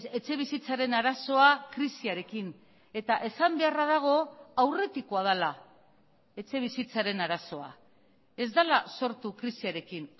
etxebizitzaren arazoa krisiarekin eta esan beharra dago aurretikoa dela etxebizitzaren arazoa ez dela sortu krisiarekin